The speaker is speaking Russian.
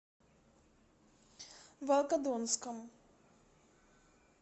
волгодонском